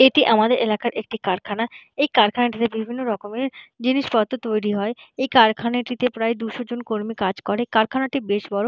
এটি আমাদের এলাকার একটি কারখানা এই কারখানাটিতে বিভিন্ন রকমের জিনিসপত্র তৈরি হয় এই কারখানাটিতে প্রায় দুশো জন কর্মী কাজ করে কাইখানাটি বেশ বড়ো।